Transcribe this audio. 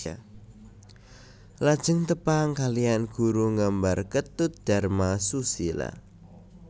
Lajeng tepang kalihan guru nggambar Ketut Dharma Susila